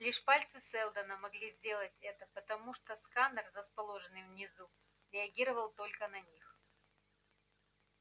лишь пальцы сэлдона могли сделать это потому что сканер расположенный внизу реагировал только на них